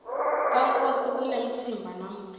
kankosi kunemtsimba namuhla